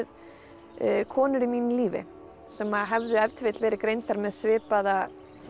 konur í mínu lífi sem hefðu ef til vill verið greindar með svipaða